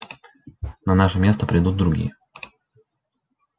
на наше место придут другие